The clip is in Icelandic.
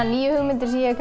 nýju hugmyndir sem ég hef